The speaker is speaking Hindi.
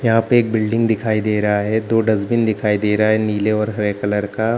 यहाँ पे एक बिल्डिंग दिखाई दे रहा है दो डस्टबीन दिखाई दे रहा है नीले और हरे कलर का।